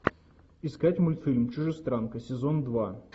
искать мультфильм чужестранка сезон два